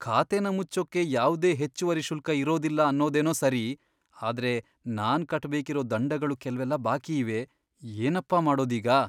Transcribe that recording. ಖಾತೆನ ಮುಚ್ಚೋಕೆ ಯಾವ್ದೇ ಹೆಚ್ಚುವರಿ ಶುಲ್ಕ ಇರೋದಿಲ್ಲ ಅನ್ನೋದೇನೋ ಸರಿ, ಆದ್ರೆ ನಾನ್ ಕಟ್ಬೇಕಿರೋ ದಂಡಗಳು ಕೆಲ್ವೆಲ್ಲ ಬಾಕಿಯಿವೆ. ಏನಪ್ಪ ಮಾಡೋದೀಗ?!